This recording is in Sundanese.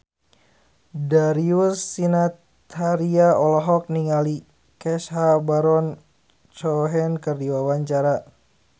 Darius Sinathrya olohok ningali Sacha Baron Cohen keur diwawancara